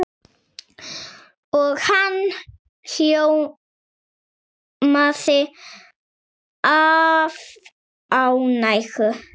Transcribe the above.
Og hann ljómaði af ánægju.